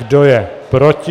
Kdo je proti?